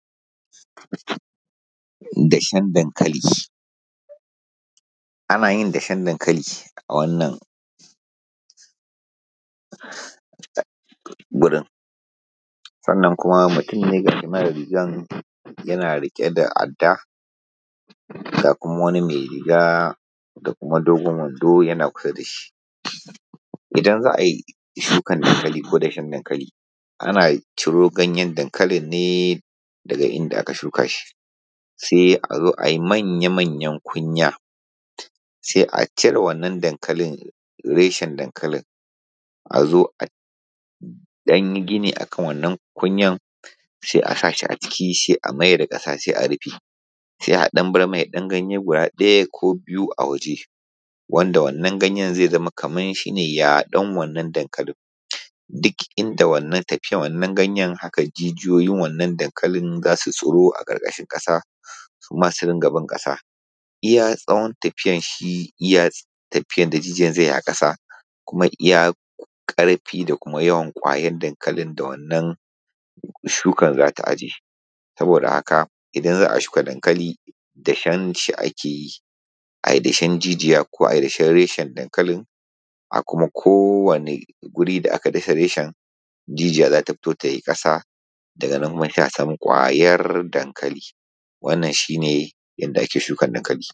Dashen dankalin ana yin dashen dankali a wannan gurin, sannan kuma mutum ne ga shi nan yana rike da adda ga kuma wani mai riga da kuma dogon wando yana biye da shi. Idan za a yin shukar dankali ko dashen dankali ana ciro ganyen dankali ne daga inda aka shuka shi sai a zo a yi manya manya kunya, sai a cire reshen dankali sai a ɗan yi gina a akan wann kinya sai a sa a ciki a mayar da ƙasa a rufe sai danbai mai ganye ɗaya ko biyu a waje wanda wannan ganyen zai zama yadon wannan dankalin. Duk inda yake wannan ganyen haka jijiyoyin wannan dankalin za su tsiro a karkashin ƙasa haka su ma su riƙa bin kasa. Iya ƙyawun shi iya tafiyar da jijiyar ya yi a ƙasa kuma iya karfi da kumayawan ƙwayar dankalin da wannan shukar za ta ajiye .saboda haka, idan za a shika dankali dashen shi ake ji. A yi dashen jijiya ko a yi dashen reshe dankali a kuma kowanne wuri da ka yi dashen dankalin jiniya za ta fito ta bi daga nan sai a sama ƙwayar dankali.